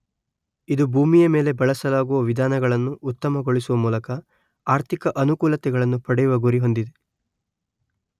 ಇದು ಭೂಮಿಯ ಮೇಲೆ ಬಳಸಲಾಗುವ ವಿಧಾನಗಳನ್ನು ಉತ್ತಮಗೊಳಿಸುವ ಮೂಲಕ ಆರ್ಥಿಕ ಅನುಕೂಲತೆಗಳನ್ನು ಪಡೆಯುವ ಗುರಿ ಹೊಂದಿದೆ